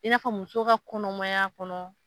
I n'a fɔ musow ka kɔnɔmaya kɔnɔ.